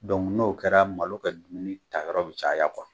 n'o kɛra malo kɛ dumuni ta yɔrɔ bi caya